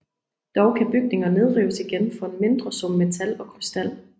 Dog kan bygninger nedrives igen for en mindre sum metal og krystal